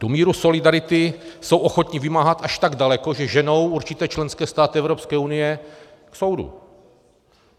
Tu míru solidarity jsou ochotni vymáhat až tak daleko, že ženou určité členské státy Evropské unie k soudu.